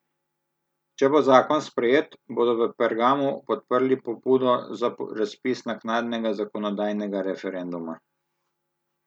Če bo zakon sprejet, bodo v Pergamu podprli pobudo za razpis naknadnega zakonodajnega referenduma.